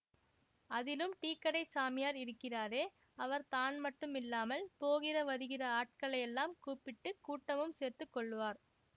அதிலும் டீக்கடைச் சாமியார் இருக்கிறாரே அவர் தான் மட்டுமில்லாமல் போகிற வருகிற ஆட்களையெல்லாம் கூப்பிட்டு கூட்டமும் சேர்த்து கொள்ளுவார்